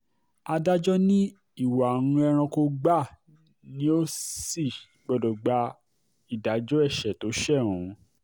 adájọ́ ní ìwà um ẹranko gbáà ni ò sì um gbọ́dọ̀ gba ìdájọ́ ẹ̀ṣẹ̀ tó ṣe ohun